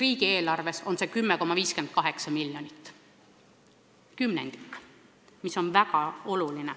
Riigieelarves on 10,58 miljardit eurot.